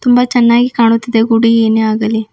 ತುಂಬಾ ಚೆನ್ನಾಗಿ ಕಾಣುತ್ತಿದೆ ಗುಡಿ ಏನೇ ಆಗಲಿ.